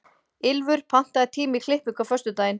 Ylfur, pantaðu tíma í klippingu á föstudaginn.